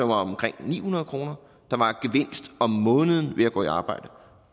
var omkring ni hundrede kroner om måneden ved at gå i arbejde